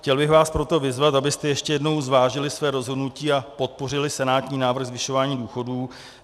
Chtěl bych vás proto vyzvat, abyste ještě jednou zvážili své rozhodnutí a podpořili senátní návrh zvyšování důchodů.